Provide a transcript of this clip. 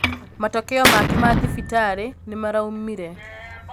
Matokeo make ma thibitarī nīmaraumire